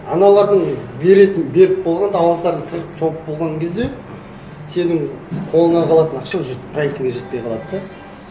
аналардың беретін беріп болғанда ауыздарын тығып жауып болған кезде сенің қолыңа қалатын ақша уже проектіңе жетпей қалады да